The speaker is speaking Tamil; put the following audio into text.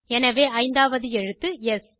எனவே ஐந்தாவது எழுத்து ஸ்